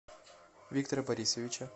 виктора борисовича